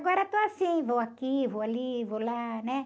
Agora estou assim, vou aqui, vou ali, vou lá, né?